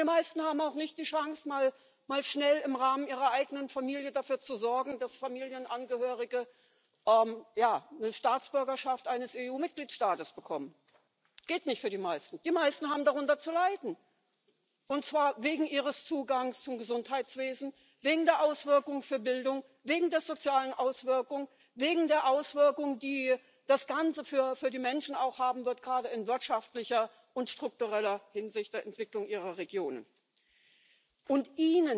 Und die meisten haben auch nicht die Chance, mal schnell im Rahmen ihrer eigenen Familie dafür zu sorgen, dass Familienangehörige die Staatsbürgerschaft eines EU-Mitgliedstaates bekommen das geht für die meisten nicht. Die meisten haben darunter zu leiden, und zwar wegen ihres Zugangs zum Gesundheitswesen, wegen der Auswirkungen für Bildung, wegen der sozialen Auswirkungen, wegen der Auswirkungen die das Ganze für die Menschen auch gerade in wirtschaftlicher und struktureller Hinsicht der Entwicklung ihrer Regionen haben wird.